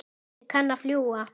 Ég kann að fljúga.